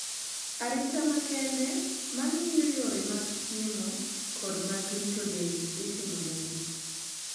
Arita makende mang`iyo yore mag chiemo kod mag rito del itimonegi.